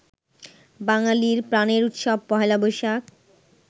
বাঙালির প্রাণের উৎসব পহেলা বৈশাখ